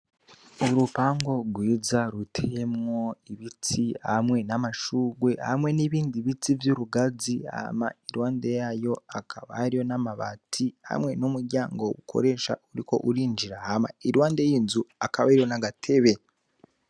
Urupango rwiza ruteyemwo ibiti hamwe n'amashurwe hamwe n'ibindi biti vy'urugazi hama iruhande yayo akaba hariyo n'amabati hamwe n'umuryango ukoresha uriko urinjira hama iruhande y'inzu akabahariyo nagatebe.